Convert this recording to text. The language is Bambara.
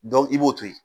i b'o to yen